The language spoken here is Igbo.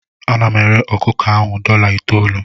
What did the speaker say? Ana m ere ọkụkọ ahụ dọla itoolu.